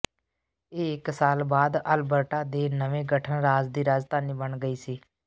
ਇਹ ਇੱਕ ਸਾਲ ਬਾਅਦ ਅਲਬਰਟਾ ਦੇ ਨਵੇ ਗਠਨ ਰਾਜ ਦੀ ਰਾਜਧਾਨੀ ਬਣ ਗਈ ਸੀ